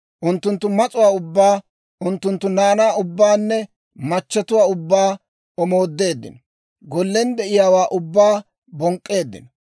Unttunttu mas'uwaa ubbaa, unttunttu naanaa ubbaanne machatuwaa ubbaa omoodeeddino; gollen de'eeddawaa ubbaa bonk'k'eeddino.